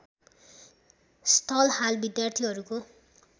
स्थल हाल विद्यार्थीहरूको